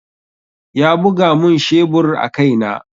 Ya buga mun shebur a kai na.